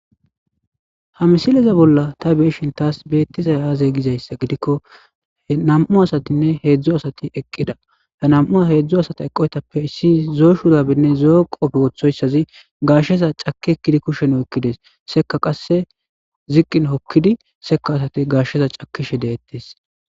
Ha misileza bolla ta beeshin taas beettiza aaze gizayssa gidikko nam'u asatinne heedzdzo asati eqqida he nam'u heedzdzo asata eqqoytappe issi zoo shurabinne zoqopfe wooththoyssazi gashsheza caki ekkidi kushen hokkides seka qasse ziqqin hokkidi seka asati gashsheza cakishe deettes.